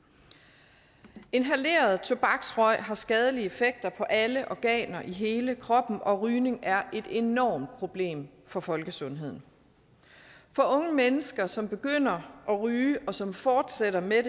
inhaleret tobaksrøg har skadelige effekter på alle organer i hele kroppen og rygning er et enormt problem for folkesundheden for unge mennesker som begynder at ryge og som fortsætter med